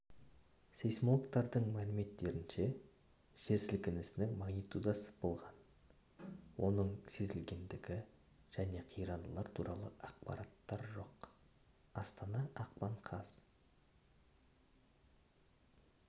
сейсмологтардың мәліметтерінше жер сілкінісінің магнитудасы болған оның сезілгендігі және қирандылар туралы ақпар жоқ астана ақпан қаз